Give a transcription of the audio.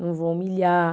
Não vou humilhar.